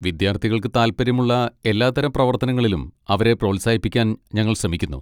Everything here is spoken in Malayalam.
വിദ്യാർത്ഥികൾക്ക് താൽപ്പര്യമുള്ള എല്ലാത്തരം പ്രവർത്തനങ്ങളിലും അവരെ പ്രോത്സാഹിപ്പിക്കാൻ ഞങ്ങൾ ശ്രമിക്കുന്നു.